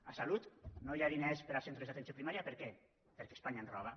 a salut no hi ha diners per a centres d’atenció primària per què perquè espanya ens roba